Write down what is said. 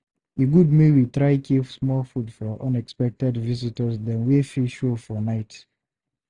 E good make we dey try keep small food for unexpected visitors dem wey fit show for night.